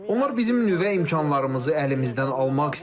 Onlar bizim nüvə imkanlarımızı əlimizdən almaq istəyirlər.